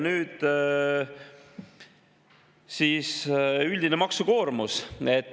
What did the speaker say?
Nüüd üldise maksukoormuse kohta.